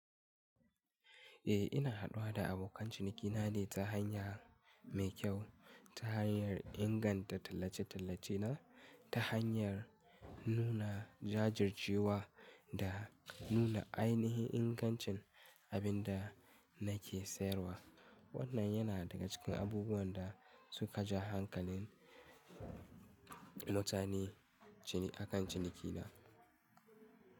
Eh ina haɗuwa da abokan cinikina ne ta hanya mai kyau ta hanyar inganta tallace-tallace na ta hanyar nuna jajircewa da nuna ainahin ingancin abin da nake sayarwa. Wannan yana daga cikin abubuwan da suka ja hankalin mutane akan cinikina.